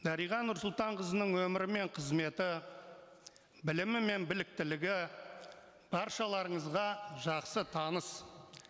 дариға нұрсұлтанқызының өмірі мен қызметі білімі мен біліктілігі баршаларыңызға жақсы таныс